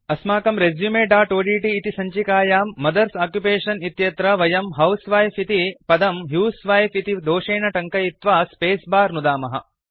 अस्माकं resumeओड्ट् इति सञ्चिकायां मदर्स ओक्युपेशन इत्यत्र वयं हाउसवाइफ इति पदं ह्यूसवाइफ इति दोषेन टङ्कयित्वा स्पेस बार नुदामः